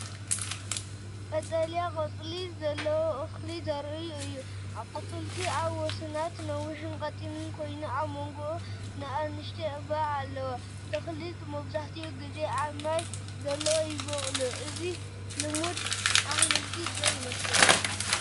ቀጠልያ ቆጽሊ ዘለዎ ተኽሊ ዘርኢ እዩ። ኣቝጽልቱ ኣብ ወሰናስኑ ነዊሕን ቀጢንን ኮይኑ፡ ኣብ መንጎኡ ንኣሽቱ ዕምባባታት ኣለዎ። እዞም ተኽልታት መብዛሕትኡ ግዜ ኣብ ማይ ዘለዎ ይበቁሉ። እዚ ተኽሊ ልሙድ ኣሕምልቲ ዶ ይመስለኩም?